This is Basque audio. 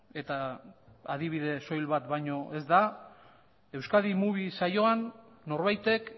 eta adibide soil bat baino ez da euskadi movie saioan norbaitek